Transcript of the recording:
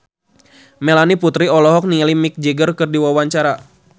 Melanie Putri olohok ningali Mick Jagger keur diwawancara